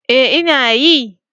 Ee ina yi.